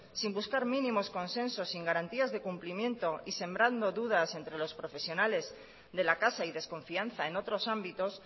sin buscar mínimos consensos sin garantías de cumplimiento y sembrando dudas entre los profesionales de la casa y desconfianza en otros ámbitos